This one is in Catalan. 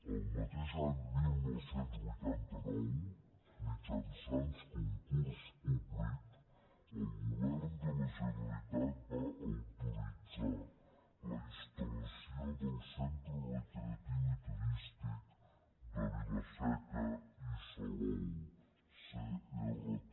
el mateix any dinou vuitanta nou mitjançant concurs públic el govern de la generalitat va autoritzar la instal·lació del centre recreatiu turístic de vila seca i salou crt